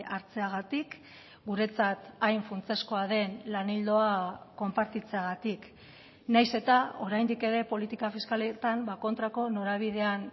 hartzeagatik guretzat hain funtsezkoa den lan ildoa konpartitzeagatik nahiz eta oraindik ere politika fiskaletan kontrako norabidean